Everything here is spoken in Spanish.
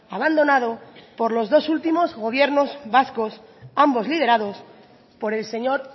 abandonado por los dos últimos gobiernos vascos ambos liderados por el señor